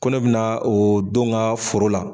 Ko ne bina o denw ka foro la